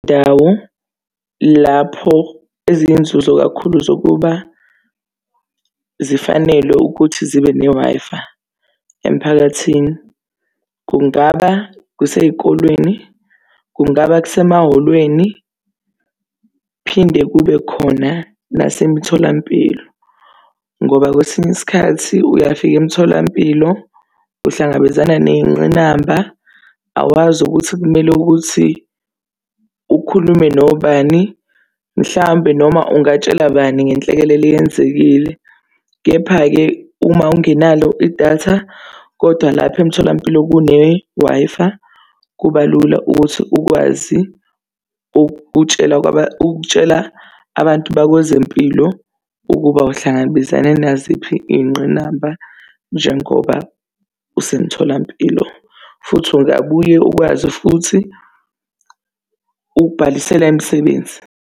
Izindawo lapho eziyinzuzo kakhulu zokuba zifanelwe ukuthi zibe ne-Wi-Fi emphakathini, kungaba kusey'kolweni, kungaba kusemahholweni, kuphinde kube khona nasemtholampilo. Ngoba kwesinye isikhathi uyafika emtholampilo uhlangabezana ney'ngqinamba, awazi ukuthi kumele ukuthi ukhulume nobani, mhlampe noma ungatshela bani ngenhlekelele eyenzekile. Kepha-ke uma ungenalo idatha, kodwa lapha emtholampilo kune-Wi-Fi, kuba lula ukuthi ukwazi ukutshela ukutshela abantu bakwezempilo ukuba uhlangabezane naziphi iy'ngqinamba njengoba usemtholampilo. Futhi ungabuye ukwazi futhi ukubhalisela imisebenzi.